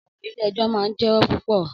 Ọ̀rọ̀ Ilé-ẹjọ́ máa ń jẹwó púpọ̀.